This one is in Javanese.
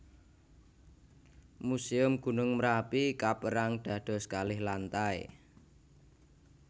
Muséum Gunung Merapi kapérang dados kalih lantai